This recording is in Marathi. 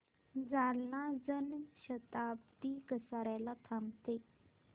जालना जन शताब्दी कसार्याला थांबते का